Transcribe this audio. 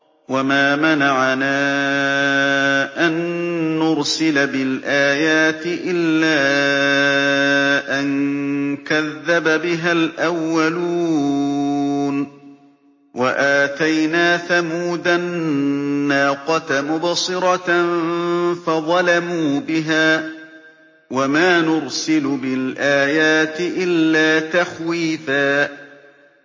وَمَا مَنَعَنَا أَن نُّرْسِلَ بِالْآيَاتِ إِلَّا أَن كَذَّبَ بِهَا الْأَوَّلُونَ ۚ وَآتَيْنَا ثَمُودَ النَّاقَةَ مُبْصِرَةً فَظَلَمُوا بِهَا ۚ وَمَا نُرْسِلُ بِالْآيَاتِ إِلَّا تَخْوِيفًا